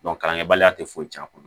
kalankɛbaliya tɛ foyi tiɲɛ a kɔnɔ